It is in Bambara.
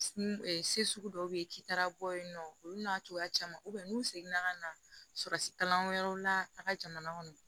Se sugu dɔw bɛ yen k'i taara bɔ yen nɔ olu n'a cogoya caman n'u seginna ka na surasi kalan wɛrɛw la a ka jamana kɔnɔ